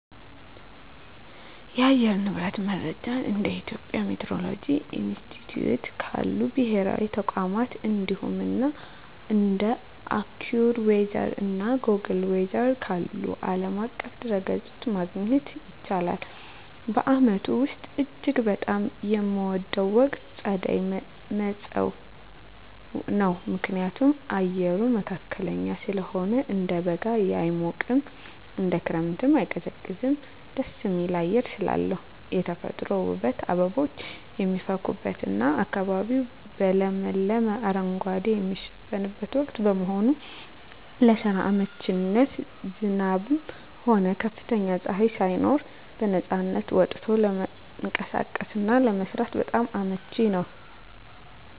የአየር ንብረት መረጃን እንደ የኢትዮጵያ ሚቲዎሮሎጂ ኢንስቲትዩት ካሉ ብሔራዊ ተቋማት፣ እንዲሁም እንደ AccuWeather እና Google Weather ካሉ ዓለም አቀፍ ድረ-ገጾች ማግኘት ይቻላል። በዓመቱ ውስጥ እጅግ በጣም የምወደው ወቅት ጸደይ (መጸው) ነው። ምክንያቱም፦ አየሩ መካከለኛ ስለሆነ፦ እንደ በጋ የማይሞቅ፣ እንደ ክረምትም የማይቀዘቅዝ ደስ የሚል አየር ስላለው። የተፈጥሮ ውበት፦ አበቦች የሚፈኩበትና አካባቢው በለመለመ አረንጓዴ የሚሸፈንበት ወቅት በመሆኑ። ለስራ አመቺነት፦ ዝናብም ሆነ ከፍተኛ ፀሐይ ሳይኖር በነፃነት ወጥቶ ለመንቀሳቀስና ለመስራት በጣም አመቺ ነው።